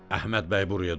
Əhməd bəy buraya düşüb?